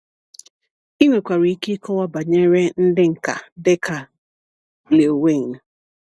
Ị nwekwara ike ịkọwa banyere ndị nka dịka Lil Wayne.